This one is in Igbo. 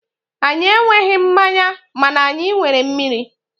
anyị enweghị mmanya mana anyị nwere mmiri.